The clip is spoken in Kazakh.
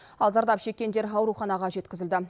ал зардап шеккендер ауруханаға жеткізілді